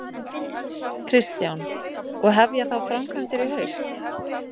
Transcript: Kristján: Og hefja þá framkvæmdir í haust?